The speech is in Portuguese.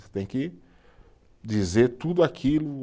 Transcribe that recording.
Você tem que dizer tudo aquilo.